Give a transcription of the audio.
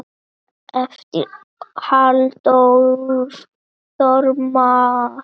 eftir Halldór Þormar